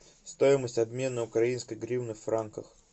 стоимость обмена украинской гривны в франках